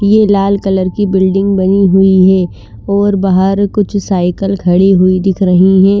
ये लाल कलर की बिल्डिंग बनी हुई है और बहार कुछ साइकिल खड़ी हुई दिख रही है।